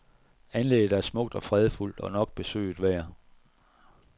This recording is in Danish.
Anlægget er smukt og fredfuldt og nok besøget værd.